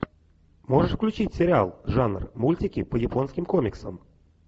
можешь включить сериал жанр мультики по японским комиксам